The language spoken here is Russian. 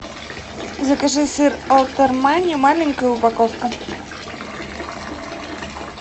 закажи сыр аутермани маленькая упаковка